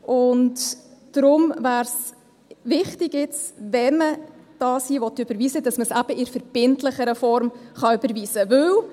Deshalb wäre es jetzt wichtig, dass man es eben in der verbindlicheren Form überweisen kann, wenn man es überweisen will.